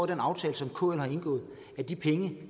den aftale som kl har indgået at de penge